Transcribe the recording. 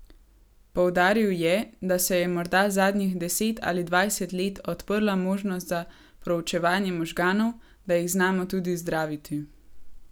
Poudaril je, da se je morda zadnjih deset ali dvajset let odprla možnost za proučevanje možganov, da jih znamo tudi zdraviti.